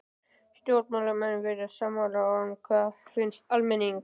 Stjórnmálamenn virðast sammála en hvað finnst almenningi?